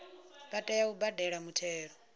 vha tea u badela muthelo